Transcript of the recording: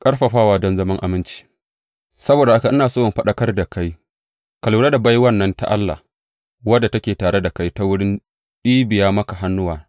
Ƙarfafawa don zaman aminci Saboda haka, ina so in faɗakar da kai, ka lura baiwan nan ta Allah, wadda take tare da kai ta wurin ɗibiya maka hannuwana.